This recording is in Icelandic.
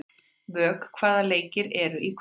Vök, hvaða leikir eru í kvöld?